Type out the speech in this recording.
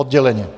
Odděleně.